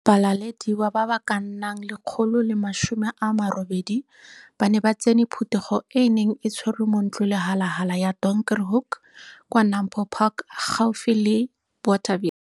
Ba lalediwa ba ba ka nnang 180 ba ne ba tsene phuthego e e neng e tshwerwe mo Ntlolehalala ya Donkerhoek kwa NAMPO Park, gaufi le Bothaville.